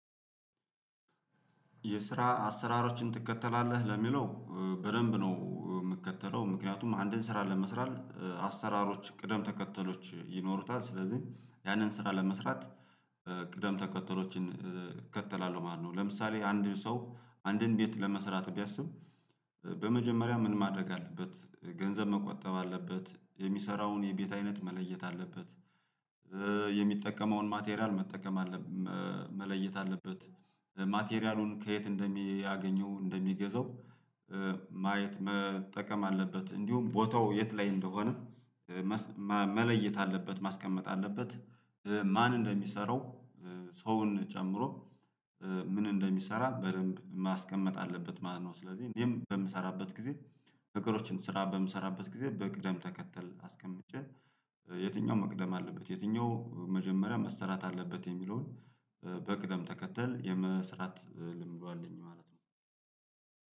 የስራ አሰራሮችን ትከተላለህ ለሚለው በደንብ ነው ምትከተለው ምክንያቱም አንድን ስራ ለመስራት አሰራሮች ቅደም ተከተሎች ይኖሩታል ስለዚህ ያንን ስራ ለመስራት ቅደም ተከተሎችን እከተላለሁ ማለት ነው። ለምሳሌ አንድን ሰው አንድን ቤት ለመስራት ቢያስብ። በመጀመሪያ ምን ማደረግ አለበት ገንዘብ መቆጠብ አለበት የሚሰራውን የቤት አይነት መለየት አለበት። የሚጠቀመውን ማቴሪያል መጠቀም መለየት አለበት። ማቴሪያሉን ከየት እንደሚያገኘው እንደሚገዛው ማየት መጠቀም አለበት። እንዲሁም ቦታው የት ላይ እንደሆነ መለየት አለበት። ማስቀመጥ አለበት። ማን እንደሚሰራው ሰውን ጨምሮ ምን እንደሚሰራ በደንብ ማስቀመጥ አለበት ማለት ነው። ስለዚህ እኔም በምሰራበት ጊዜ ነገሮችን ስራ በምሰራበት ጊዜ በቅደም ተከተል አስቀምጬ የትኛው መቅደም አለበት የትኛው መጀመሪያ መስራት አለበት የሚለውን በቅደም ተከተል የመስራት ልምዱ አለኝ ማለት ነው።